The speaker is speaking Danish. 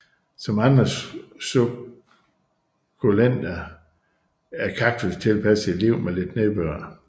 Som andre sukkulenter er kaktus tilpasset et liv med lidt nedbør